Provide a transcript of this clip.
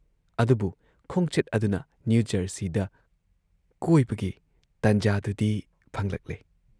ꯑꯗꯨꯕꯨ ꯈꯣꯡꯆꯠ ꯑꯗꯨꯅ ꯅ꯭ꯌꯨ ꯖꯔꯁꯤꯗ ꯀꯣꯏꯕꯒꯤ ꯇꯟꯖꯥꯗꯨꯗꯤ ꯐꯪꯂꯛꯂꯦ ꯫